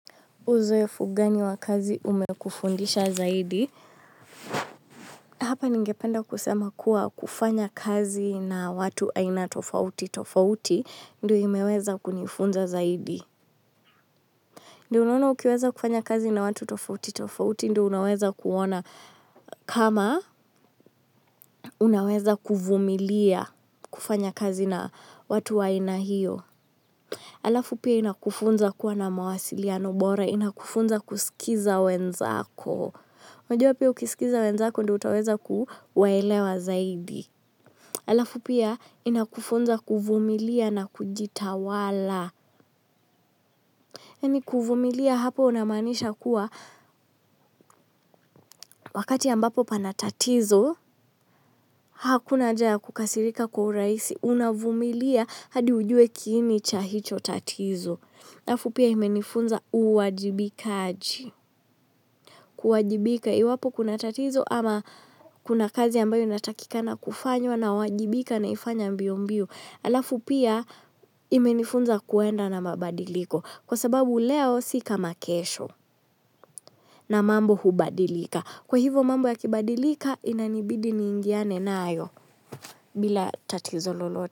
Uzoefu gani wa kazi umekufundisha zaidi? Hapa ningependa kusema kuwa kufanya kazi na watu aina tofauti tofauti, ndio imeweza kunifunza zaidi. Ndio unaona ukiweza kufanya kazi na watu tofauti tofauti, ndio unaweza kuona kama unaweza kuvumilia kufanya kazi na watu aina hiyo. Alafu pia inakufunza kuwa na mawasiliano bora, inakufunza kusikiza wenzako. Unajua pia ukisikiza wenzako ndio utaweza kuwaelewa zaidi. Alafu pia inakufunza kuvumilia na kujitawala. Yaani kuvumilia hapo unamaanisha kuwa wakati ambapo pana tatizo. Hakuna haja kukasirika kwa urahisi unavumilia hadi ujue kiini cha hicho tatizo. Halafu pia imenifunza uwajibikaji. Kuwajibika iwapo kuna tatizo ama kuna kazi ambayo inatakikana kufanywa nawajibika naifanya mbio mbio alafu pia imenifunza kuenda na mabadiliko kwa sababu leo si kama kesho na mambo hubadilika kwa hivo mambo yakibadilika inanibidi niingiane nayo bila tatizo lolote.